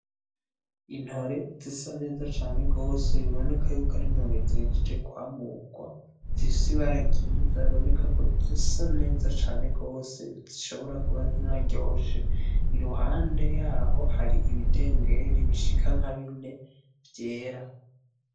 Intore zisa neza cane gose biboneka karintore zihejeje kwamurwa zifise ibara ryiza bibineka kozisa neza gose zishobora kuba zinaryoshe iruhande yaho hari ibidengeri bishika nkabine vyera.